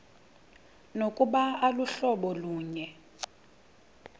nokuba aluhlobo lunye